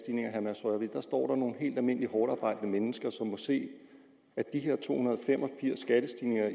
af står der nogle helt almindelige hårdtarbejdende mennesker som må se at de her to hundrede og fem og firs skattestigninger